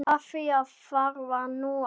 Af því varð nú aldrei.